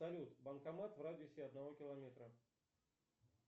салют банкомат в радиусе одного километра